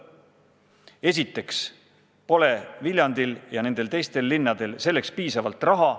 Esiteks pole Viljandil ja nendel teistel linnadel selleks piisavalt raha.